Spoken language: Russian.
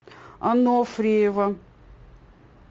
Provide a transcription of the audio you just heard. анофриева